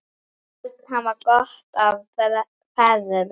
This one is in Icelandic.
Börn hafa gott af feðrum.